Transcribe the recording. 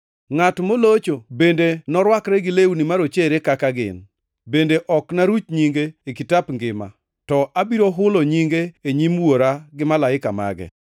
Ngʼat molocho bende norwakre gi lewni marochere kaka gin, bende ok naruch nyinge e kitap ngima, to abiro hulo nyinge e nyim Wuora gi Malaike mage.